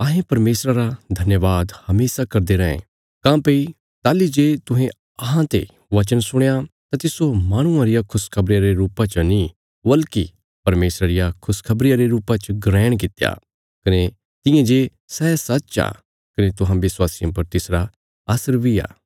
अहें परमेशरा रा धन्यवाद हमेशा करदे रैं काँह्भई ताहली जे तुहें अहांते वचन सुणया तां तिस्सो माहणुआं रिया खुशखबरिया रे रुपा च नीं बल्कि परमेशरा रिया खुशखबरिया रे रुपा च ग्रहण कित्या कने तियां जे सै सच्च आ कने तुहां विश्वासियां पर तिसरा असर बी आ